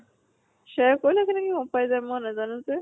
share কৰিলে কেনেকে গম পাই যায় মই নাজানো যে।